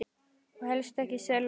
Og helst ekki selló.